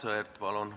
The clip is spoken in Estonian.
Aivar Sõerd, palun!